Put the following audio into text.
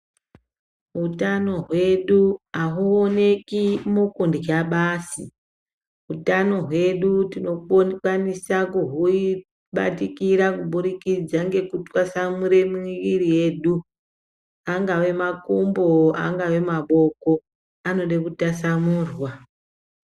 Utano hwedu ahuoneki mukurya basi, utano hwedu tinokwanisa kuhubatikira kubudikidza ngekutwasanure miviri yedu angave makumbo, angave maboko anode kutasanurwa.